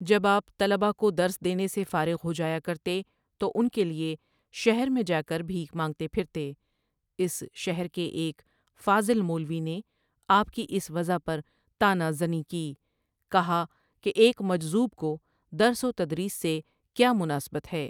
جب آپ طلبہ کو درس دینے سے فارغ ہو جایا کرتے تو ان کے لیے شہر میں جا کر بھیک مانگتے پھرتے اس شہر کے ایک فاضل مولوی نے آپ کی اس وضع پر طغہ زنی کی ، کہا کہ ایک مجذوب کو درس و تدریس سے کیا مناسبت ہے ۔